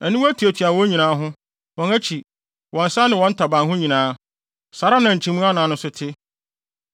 Aniwa tuatua wɔn ho nyinaa, wɔn akyi, wɔn nsa ne wɔn ntaban ho nyinaa. Saa ara na nkyimii anan no nso te.